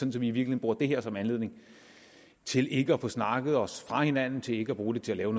i virkeligheden bruger det her som anledning til ikke at få snakket os fra hinanden og til ikke at bruge det til at